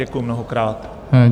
Děkuju mnohokrát.